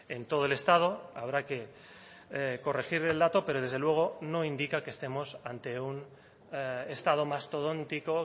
en todo el estado habrá que corregir el dato pero desde luego no indica que estemos ante un estado mastodóntico